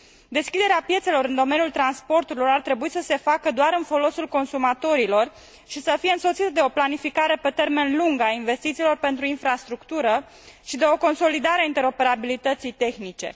Deschiderea piețelor în domeniul transporturilor ar trebui să se facă doar în folosul consumatorilor și să fie însoțită de o planificare pe termen lung a investițiilor pentru infrastructură și de o consolidare a interoperabilității tehnice.